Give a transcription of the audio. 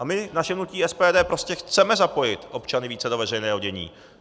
A my, naše hnutí SPD, prostě chceme zapojit občany více do veřejného dění.